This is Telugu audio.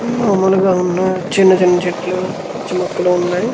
మామూలుగా ఉన్నా చిన్న చిన్న చెట్లు పిచ్చి మొక్కలు ఉన్నాయి.